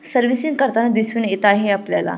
Servicing करताना दिसुन येत आहे आपल्याला.